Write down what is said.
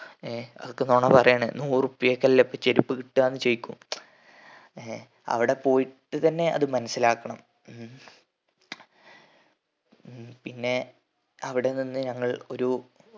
ഏർ അതൊക്കെ നൊണ പാറയാണ് നൂറുപ്യക്ക് എല്ലും ഇപ്പം ചെരുപ്പ് കിട്ടാന്ന് ചോയ്ക്കും ഏർ അവിടെ പോയിട്ട് തന്നെ അത് മനസ്സിലാക്കണം ഉം ഉം പിന്നെ അവിടെ നിന്ന് ഞങ്ങൾ ഒരു